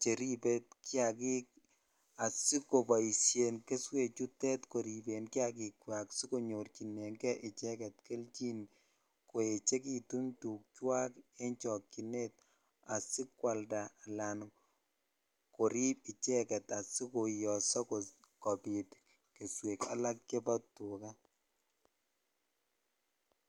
cheribe kiakik asikoboishen keswek chutet koriben kiakikwak sikonyorchineng'e icheket kelchin koechekitun tukwak en chokyinet asikwalda alaan koriib icheket asikoiyoso kobiit keswek alak chebo tukaa.